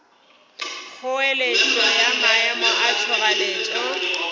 kgoeletšo ya maemo a tšhoganetšo